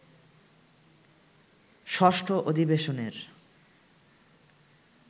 ষষ্ঠ অধিবেশনের